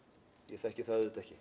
ég þekki það auðvitað ekki